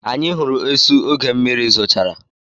Anyị hụrụ esu oge mmiri zochara.